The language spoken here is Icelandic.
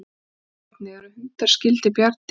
Skoðið einnig: Eru hundar skyldir bjarndýrum?